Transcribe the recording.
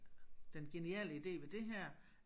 Den geniale ide ved det her